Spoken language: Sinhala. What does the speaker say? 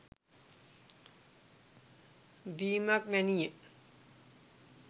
දීමක් වැනි ය.